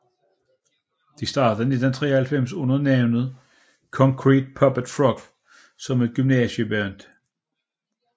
De startede i 1993 under navnet Concrete Puppet Frog som et gymnasieband